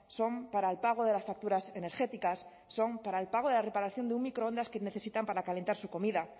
son para el pago de las facturas energéticas son para el pago de la reparación de un microondas que necesitan para calentar su comida